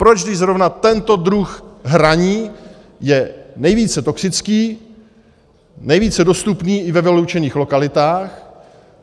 Proč, když zrovna tento druh hraní je nejvíce toxický, nejvíce dostupný i ve vyloučených lokalitách?